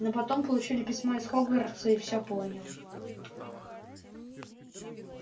но потом получили письмо из хогвартса и всё понял